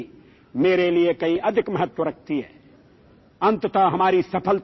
The esteem and advancement of the common man are of more importance to me